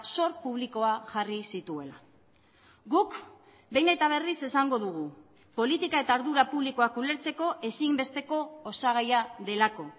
zor publikoa jarri zituela guk behin eta berriz esango dugu politika eta ardura publikoak ulertzeko ezinbesteko osagaia delako